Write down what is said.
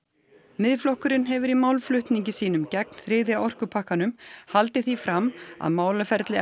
Miðflokkurinn hefur í málflutningi sínum gegn þriðja orkupakkanum haldið því fram að málaferli